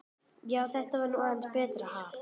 Já, þetta var nú aðeins betra, ha!